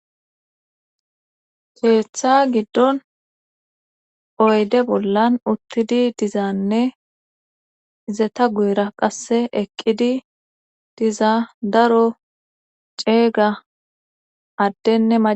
Keeththa giddon oyde bollan uttidi dizaanne izeta guyera qasse eqqidi diza daro ceeyga addene maca...